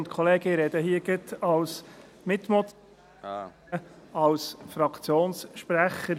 Ich spreche hier als Mitmotionär und Fraktionssprecher.